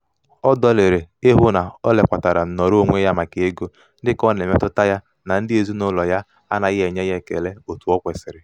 ọ dọlịrị ịhụ na o lekwatara nnọrọonwe ya maka ego dịka ọ na-emetụta ya na ndị ezinaụlọ ya anaghị ekele ya otu o kwesiri.